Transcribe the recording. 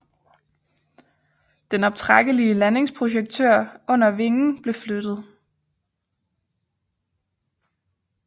Den optrækkelige landingsprojektør under vingen blev flyttet